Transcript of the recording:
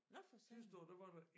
Nåh for satan